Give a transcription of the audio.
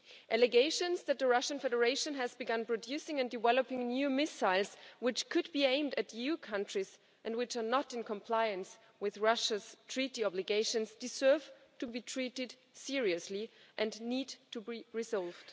Allegations that the Russian Federation has begun producing and developing new missiles which could be aimed at EU countries, and which are not in compliance with Russia's treaty obligations, deserve to be treated seriously and need to be resolved.